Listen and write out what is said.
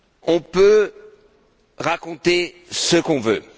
On peut raconter ce qu'on veut.